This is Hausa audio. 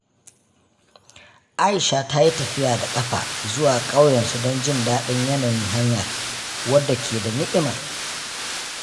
Aisha ta yi tafiya da ƙafa zuwa ƙauyensu don jin daɗin yanayin hanyar, wadda ke da ni'ima.